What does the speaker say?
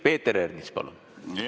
Peeter Ernits, palun!